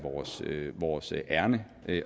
vores ærinde